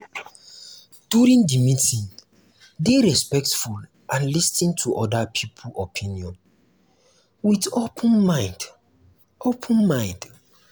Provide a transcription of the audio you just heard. during di meeting dey respectful and lis ten to oda people opinion with open mind open mind